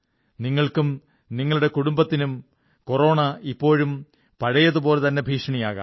നിങ്ങൾക്കും നിങ്ങളുടെ കുടുംബത്തിനും കൊറോണ ഇപ്പോഴും പഴയതുപോലെതന്നെ ഭീഷണിയാകാം